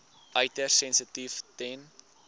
uiters sensitief ten